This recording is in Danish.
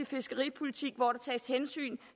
fiskeripolitik hvor der tages hensyn